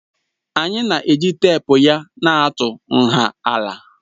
Anyị na-eji teepu ya na-atụ nha ala